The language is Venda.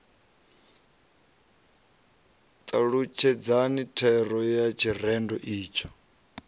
talutshedzani thero ya tshirendo itsho